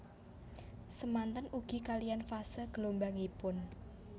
Samanten ugi kaliyan fase gelombangipun